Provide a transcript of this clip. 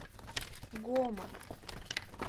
гома